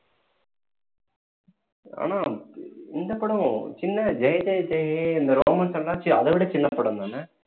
ஆனா இந்த படம் சின்ன ஜெய ஜெய ஜெய ஹே இந்த ரோமன்ஸ் எல்லாம் அதைவிட சின்ன படம் தானே